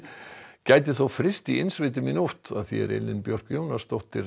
gæti þó fryst í innsveitum í nótt Elín Björk Jónasdóttir